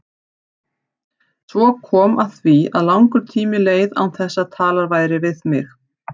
Svo kom að því að langur tími leið án þess að talað væri við mig.